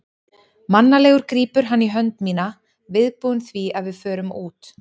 Mannalegur grípur hann í hönd mína, viðbúinn því að við förum út.